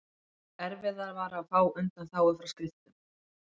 erfiðara var að fá undanþágu frá skriftum